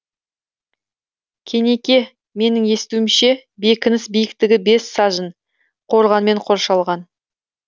кенеке менің естуімше бекініс биіктігі бес сажын қорғанмен қоршалған